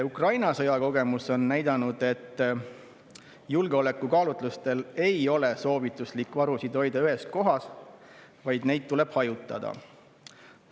Ukraina sõja kogemus on näidanud, et julgeolekukaalutlustel ei ole soovituslik varusid hoida ühes kohas, vaid neid tuleb hajutada.